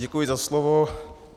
Děkuji za slovo.